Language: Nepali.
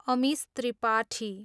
अमिश त्रिपाठी